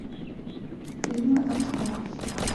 фильмы артхаус